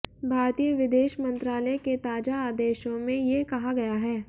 भारतीय विदेश मंत्रालय के ताजा आदेशों में ये कहा गया है